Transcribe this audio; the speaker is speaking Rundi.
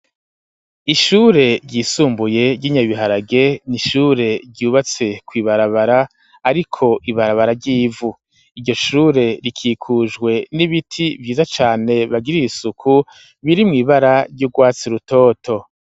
Ishure ryisumbuye ryi Nyabiharage n'ishure ryubatse kw'ibarabara ariko ibarabara ry'ivu iryo shure rikikujwe n'ibiti vyiza cane bagiriye isuku biri mw'ibara ry'urwatsi rutoto.